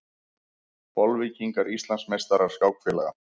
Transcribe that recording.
Bolvíkingar Íslandsmeistarar skákfélaga